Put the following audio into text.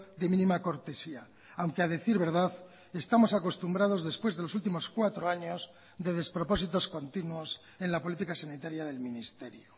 de mínima cortesía aunque a decir verdad estamos acostumbrados después de los últimos cuatro años de despropósitos continuos en la política sanitaria del ministerio